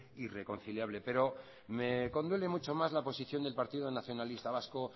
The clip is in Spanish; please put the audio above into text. y reconciliable pero me conduele mucho más la posición del partido nacionalista vasco